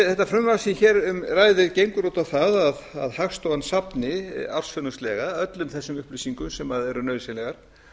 þetta frumvarp sem hér um ræðir gengur út á það að hagstofan safni ársfjórðungslega öllum þessum upplýsingum sem eru nauðsynlegar